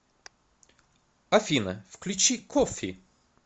афина включи коффи